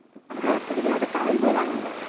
असं वाटतं कि, बई आता कायचं बोलावं ह्यांना.